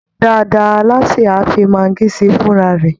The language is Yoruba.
Dáadáa, alásè á fi maggi sí i fúnra rẹ̀